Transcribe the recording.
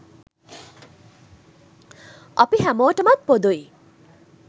අපි හැමෝටමත් පොදුයි.